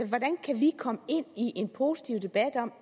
hvordan kan vi komme ind i en positiv debat om